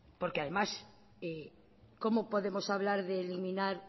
porque además cómo podemos hablar de eliminar